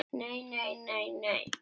NEI, NEI, NEI.